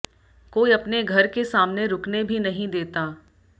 कोई अपने घर के सामने रुकने भी नहीं देता